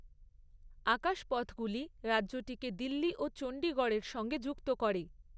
আকাশপথগুলি রাজ্যটিকে দিল্লি ও চণ্ডীগড়ের সঙ্গে যুক্ত করে।